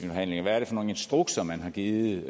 forhandlinger hvad er det for nogle instrukser man har givet